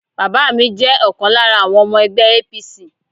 Bàbá mi jẹ́ ọ̀kan lára àwọn ọmọ ẹgbẹ́ APC.